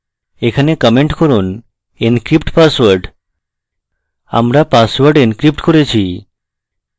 এখানে comment করুন encrypt password আমরা পাসওয়ার্ড encrypt করেছি